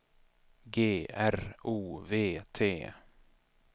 G R O V T